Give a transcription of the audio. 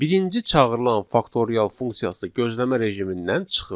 Birinci çağırılan faktorial funksiyası gözləmə rejimindən çıxır.